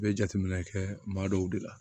I bɛ jateminɛ kɛ maa dɔw de la